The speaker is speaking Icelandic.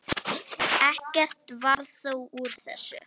Ekkert varð þó úr þessu.